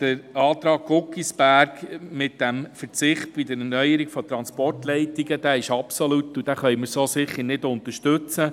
Der Antrag Guggisberg mit dem Verzicht bei der Erneuerung bei Transportleitungen ist zu absolut, und wir können ihn so nicht unterstützen.